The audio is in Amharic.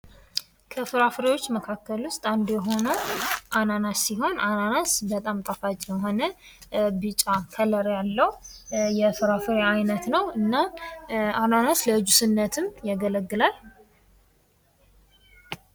ከፍራፍሪዎች መካከል ዉስጥ፡አንዱ የሆነው አናናስ ሲሆን አናናስ በጣም ጣፋጭ የሆነ ቢጫ ከለም ያለው የፍራፍሬ አይነት ነው፤ እና አናናስ ለጁስነትም ያገለግላል።